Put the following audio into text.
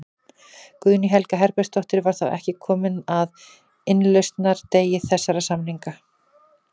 Guðný Helga Herbertsdóttir: Var þá ekki komið að innlausnardegi þessara samninga?